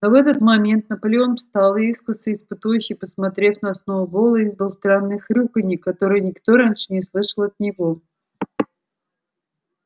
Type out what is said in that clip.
но в этот момент наполеон встал и искоса испытующе посмотрев на сноуболла издал странное хрюканье которое никто раньше не слышал от него